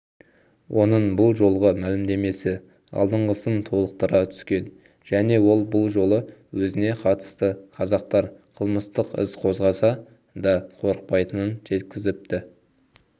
оның бұл жолғы мәлімдемесі алдыңғысын толықтыра түскен және ол бұл жолы өзіне қатысты қазақтар қылмыстық іс қозғаса да қорықпайтынын жеткізіпті